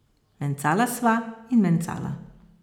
Mencala sva in mencala.